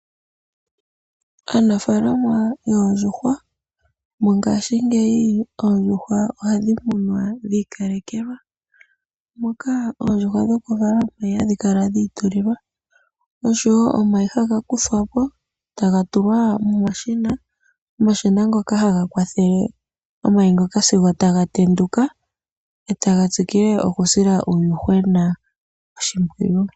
Aanafalama yoondjuhwa Mongashingeyi oondjuhwa ohadhi munwa dhi ikalekelwa, moka oondjuhwa dhokuvala omayi hadhi kala dhi ikalekelwa, osho wo omayi haga kuthwa po taga tulwa momashina, omashina ngoka haga kwathele omayi sigo taga tenduka e taga tsikile okusila uuyuhwena oshimpwiyu.